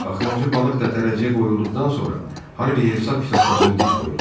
Axırıncı balıq da tərəziyə qoyulduqdan sonra Harvi hesab kitabçasını Diskoya uzatdı.